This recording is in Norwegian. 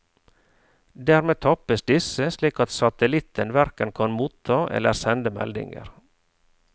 Dermed tappes disse, slik at satellitten hverken kan motta eller sende meldinger.